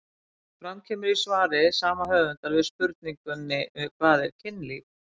eins og fram kemur í svari sama höfundar við spurningunni hvað er kynlíf